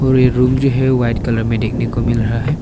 वे room जो है white colour में देखने को मिल रहा है।